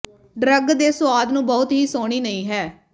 drug ਦੇ ਸੁਆਦ ਨੂੰ ਬਹੁਤ ਹੀ ਸੋਹਣੀ ਨਹੀ ਹੈ